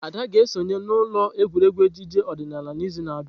Ada ga-esonye n'ụlọ egwuregwu ejije odinala n'izu na-abịa.